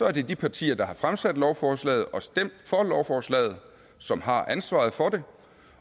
at det er de partier der har fremsat lovforslaget og stemt for lovforslaget som har ansvaret for det